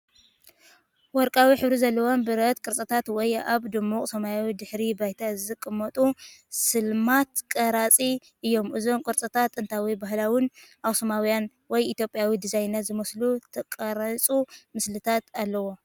ወርቃዊ ሕብሪ ዘለዎም ብረት ቅርጽታት ወይ ኣብ ድሙቕ ሰማያዊ ድሕረ ባይታ ዝተቐመጡ ስልማት ቁራጽ እዮም። እዞም ቁርጽራጻት ጥንታውን ባህላውን ኣኽሱማዊ ወይ ኢትዮጵያዊ ዲዛይናት ዝመስሉ ዝተቐርጹ ምስልታት ኣለዎም።